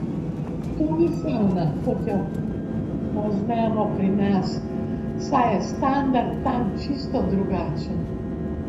To ni savna, kot jo poznamo pri nas, saj je standard tam čisto drugačen.